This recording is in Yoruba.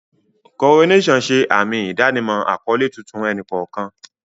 Coronations ṣe àmì ìdánimọ̀ àkọ́lé tuntun ẹnì kọ̀ọ̀kan.